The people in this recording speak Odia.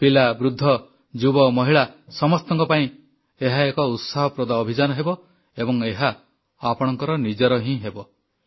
ପିଲା ବୃଦ୍ଧ ଯୁବ ମହିଳା ସମସ୍ତଙ୍କ ପାଇଁ ଏହା ଏକ ଉତ୍ସାହପ୍ରଦ ଅଭିଯାନ ହେବ ଏବଂ ଏହା ଆପଣଙ୍କର ନିଜର ହିଁ ହେବ